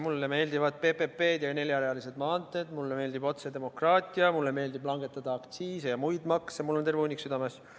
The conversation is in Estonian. Mulle meeldivad PPP-d ja neljarealised maanteed, mulle meeldib otsedemokraatia, mulle meeldib langetada aktsiise ja muid makse – mul on terve hunnik südameasju.